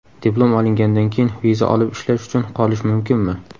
Diplom olingandan keyin viza olib ishlash uchun qolish mumkinmi?